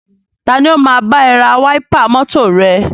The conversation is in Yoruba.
Tani o máa bá ẹ ra wáípà mọ́tọ̀ rẹ?